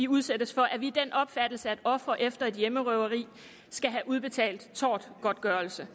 udsættes for er vi af den opfattelse at ofre efter en hjemmerøveri skal have udbetalt tortgodtgørelse